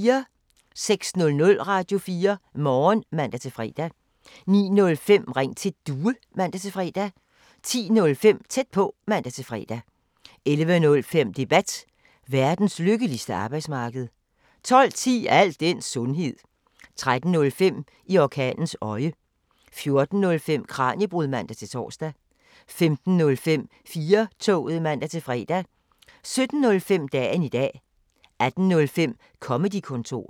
06:00: Radio4 Morgen (man-fre) 09:05: Ring til Due (man-fre) 10:05: Tæt på (man-fre) 11:05: Debat: Verdens lykkeligste arbejdsmarked 12:10: Al den sundhed 13:05: I orkanens øje 14:05: Kraniebrud (man-tor) 15:05: 4-toget (man-fre) 17:05: Dagen i dag 18:05: Comedy-kontoret